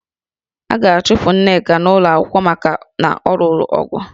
A ga-achụpụ Nneka n'ụlọ akwụkwọ maka na ọ lụrụ ọgụ